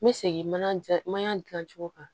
N bɛ segin mana ja mana dilan cogo kan